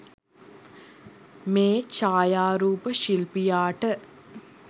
මේ ඡායාරූප ශිල්පියාට